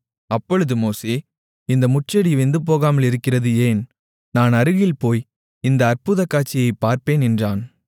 அப்பொழுது மோசே இந்த முட்செடி வெந்துபோகாமல் இருக்கிறது ஏன் நான் அருகில் போய் இந்த அற்புதக்காட்சியைப் பார்ப்பேன் என்றான்